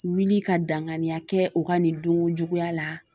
Wuli ka danganiya kɛ o ka nin donya la